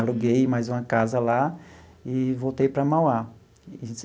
Aluguei mais uma casa lá e voltei para Mauá.